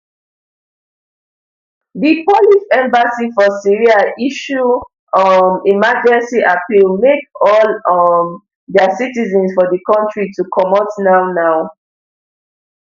di polish embassy for syria issue um emergency appeal make all um dia citizens for di kontri to comot nownow